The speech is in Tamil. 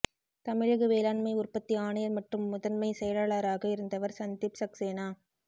தமிழக வேளாண்மை உற்பத்தி ஆணையர் மற்றும் முதன்மை செயலாளராக இருந்தவர் சந்தீப் சக்சேனா